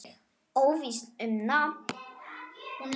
Óvíst um nafn.